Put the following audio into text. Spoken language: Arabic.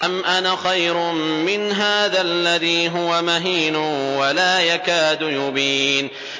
أَمْ أَنَا خَيْرٌ مِّنْ هَٰذَا الَّذِي هُوَ مَهِينٌ وَلَا يَكَادُ يُبِينُ